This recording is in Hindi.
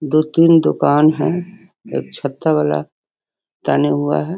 दो-तीन दुकान है एक छत्ता वाला ताने हुआ है।